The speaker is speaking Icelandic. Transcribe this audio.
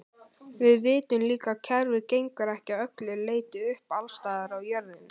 Við vitum líka að kerfið gengur ekki að öllu leyti upp alls staðar á jörðinni.